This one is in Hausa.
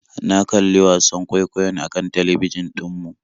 Na kalli wasan kwaikwayon akan talbijin ɗin mu